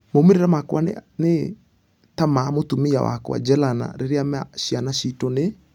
Maumerera makwa nĩ....ta ma mũtumia wakwa jelena rĩrĩa ma ciana citũ nĩ....